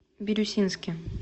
бирюсинске